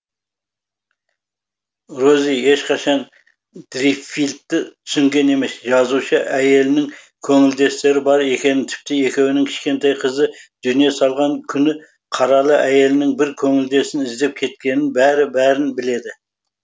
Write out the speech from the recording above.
рози ешқашан дриффилдті түсінген емес жазушы әйелінің көңілдестері бар екенін тіпті екеуінің кішкентай қызы дүние салған күні қаралы әйелінің бір көңілдесін іздеп кеткенін бәрін бәрін біледі